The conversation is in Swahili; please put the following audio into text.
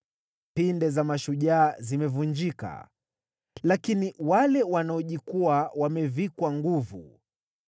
“Pinde za mashujaa zimevunjika, lakini wale wanaojikwaa wamevikwa nguvu.